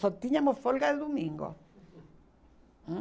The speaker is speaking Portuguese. Só tínhamos folga domingo ãh